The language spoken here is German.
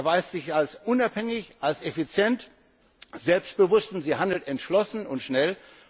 Rolle. Sie erweist sich als unabhängig, effizient und selbstbewusst, und sie handelt entschlossen und